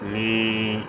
Ni